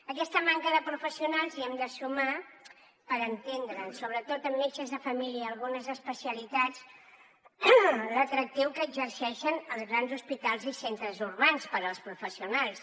a aquesta manca de professionals hi hem de sumar per entendre’ns sobretot en metges de família algunes especialitats l’atractiu que exerceixen els grans hospitals i centres urbans per als professionals